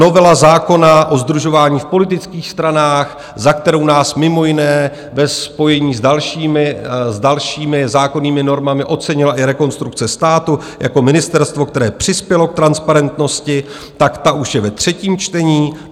Novela zákona o sdružování v politických stranách, za kterou nás mimo jiné ve spojení s dalšími zákonnými normami ocenila i Rekonstrukce státu jako ministerstvo, které přispělo k transparentnosti, tak ta už je ve třetím čtení.